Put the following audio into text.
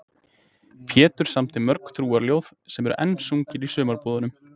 Pétur samdi mörg trúarljóð sem enn eru sungin í sumarbúðunum.